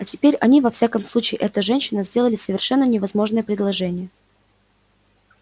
а теперь они во всяком случае эта женщина сделали совершенно невозможное предложение